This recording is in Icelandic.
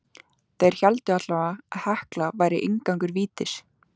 Þeir héldu allavega að Hekla væri inngangur vítis.